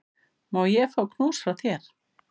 Má ég fá knús frá þér?